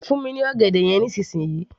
fún mi ní ọ̀gẹ̀dẹ̀ yẹn nísìnsisìyí